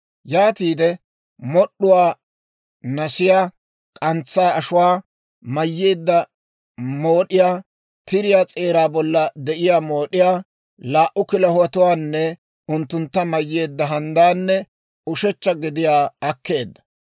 Yaatiide mod'd'uwaa, nasiyaa, k'antsaa ashuwaa mayyeedda mood'iyaa, tiriyaa s'eeraa bolla de'iyaa mood'iyaa, laa"u kilahotuwaanne unttuntta mayyeedda handdaanne ushechcha gediyaa akkeedda.